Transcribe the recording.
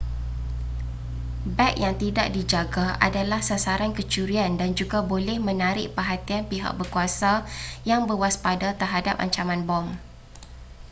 beg yang tidak dijaga adalah sasaran kecurian dan juga boleh menarik perhatian pihak berkuasa yang berwaspada terhadap ancaman bom